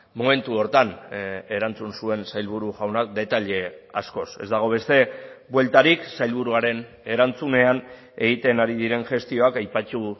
momentu horretan erantzun zuen sailburu jaunak detaile askoz ez dago beste bueltarik sailburuaren erantzunean egiten ari diren gestioak aipatu